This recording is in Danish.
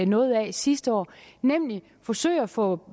noget af sidste år nemlig at forsøge at få